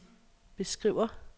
beskriver